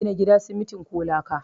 Ana gina gida simitin ko laka